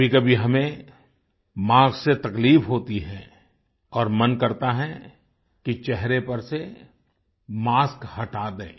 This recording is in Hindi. कभीकभी हमें मास्क से तकलीफ होती है और मन करता है कि चेहरे पर से मास्क हटा दें